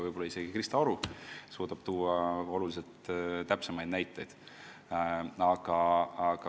Võib-olla oskab isegi Krista Aru oluliselt täpsemaid näiteid tuua.